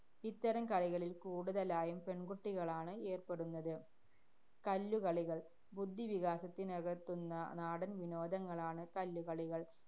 ഇത്തരം കളികളില്‍ കൂടുതലായും പെണ്‍കുട്ടികളാണ് ഏര്‍പ്പെടുന്നത്. കല്ലുകളികള്‍. ബുദ്ധിവികാസത്തിനകത്തുന്ന നാടന്‍ വിനോദങ്ങളാണ് കല്ലുകളികള്‍.